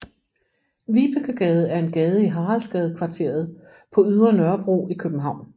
Vibekegade er en gade i Haraldsgadekvarteret på Ydre Nørrebro i København